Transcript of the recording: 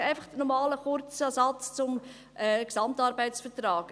Einfach noch einmal ein kurzer Satz zum GAV: